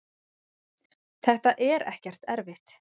þetta er ekkert erfitt.